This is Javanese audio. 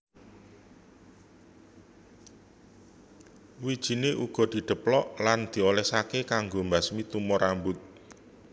Wijiné uga didheplok lan diolèsaké kanggo mbasmi tumo rambut